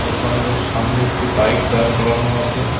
দোকানটির সামনে একটি বাইক দাঁড় করানো আসে।